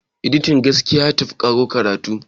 editian gaskiya ya tafi karo karatu